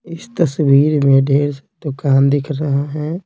इस तस्वीर में ढेर सदुकान दिख रहे है।